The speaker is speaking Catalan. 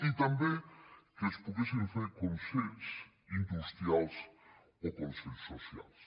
i també que es poguessin fer consells industrials o consells socials